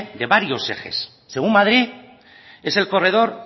de varios ejes según madrid es el corredor